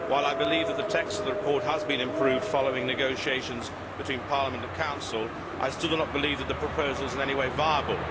While I believe that the text of the report has been improved following negotiations between Parliament and the Council, I still do not believe that the proposal is in any way viable.